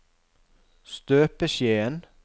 støpeskjeen